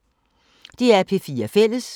DR P4 Fælles